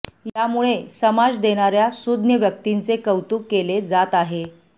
यामुळे समाज देणाऱ्या सूज्ञ व्यक्तींचे कौतुक केले जात आहे